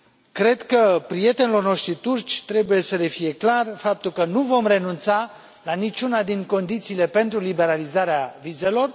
Cred că prietenilor noștri turci trebuie să le fie clar faptul că nu vom renunța la nici una din condițiile pentru liberalizarea vizelor.